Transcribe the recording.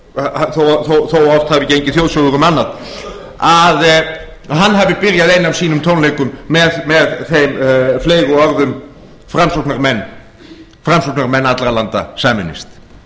að oft hafi gengið þjóðsögur um annað að hann hafi byrjað eina af sínum tónleikum með þeim fleygu orðum framsóknarmenn allra landa sameinist